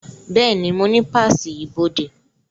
Bẹ́ẹ̀ni, mo ní páàsì ibodè